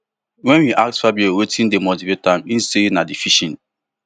wen we ask fabio wetin dey motivate am e say na di fishing